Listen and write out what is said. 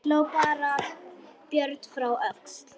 Hló þá Björn frá Öxl.